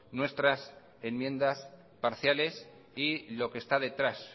nuestras enmiendas parciales y lo que está detrás